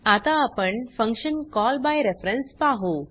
आता आपण function call by reference पाहु